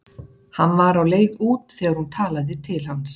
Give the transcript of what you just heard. Hann var á leið út þegar hún talaði til hans.